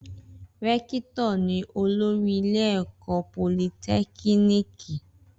Rẹ́kítọ̀ ni olórí ilé ẹ̀kọ́ politẹ́kíníìkì